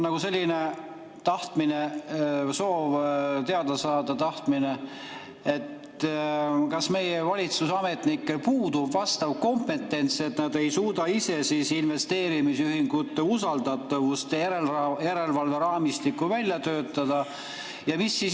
Mul on soov teada saada, kas meie valitsusametnikel puudub vastav kompetents, et nad ei suuda ise investeerimisühingute usaldatavuse järelevalve raamistikku välja töötada.